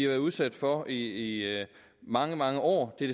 været udsat for i mange mange år det